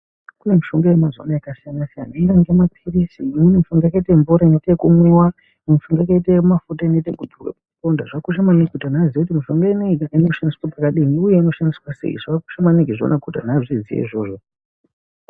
Kune mishonga yemazuvaano yakasiyana siyana imweni yakaita maphirizi imweni yakaita mvura inoite ekumwiwa imwe mishonga yakaita mafuta ekudzorwa pamaronda zvakakosha maningi kuti anthu aziye kuti mishonga inei inoshandiswa pakadini uye inoshandiswa sei zvakakosha maningi izvona kuti vantu vazviziye.